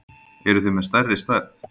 Eruð þið með stærri stærð?